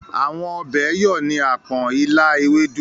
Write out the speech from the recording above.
Àwọn ọbẹ̀ yọ̀ ni àpọ̀n, ilá, ewédú.